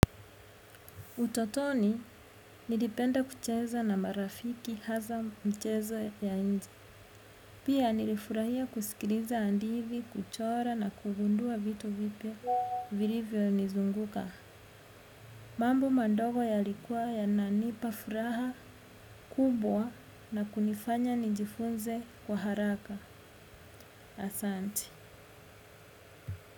Utotoni, nilipenda kucheza na marafiki hasa mchezo ya nje. Pia nilifurahia kusikiliza hadithi, kuchora na kugundua vitu vipya vilivyonizunguka. Mambo madogo yalikuwa yananipa furaha kubwa na kunifanya nijifunze kwa haraka. Asanti.